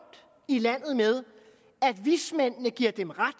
i landet med at vismændene giver dem ret